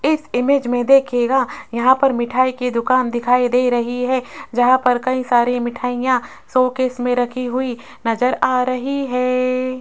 इस इमेज में देखिएगा यहां पर मिठाई की दुकान दिखाई दे रही है जहां पर कई सारी मिठाईयां शोकेस में रखी हुई नज़र आ रही है।